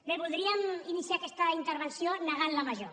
bé voldríem iniciar aquesta intervenció negant la major